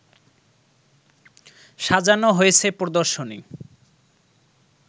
সাজানো হয়েছে প্রদর্শনী